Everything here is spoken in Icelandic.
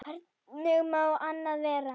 Hvernig má annað vera?